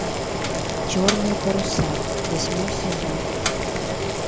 черные паруса восьмой сезон